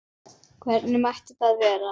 Hvernig mætti það vera?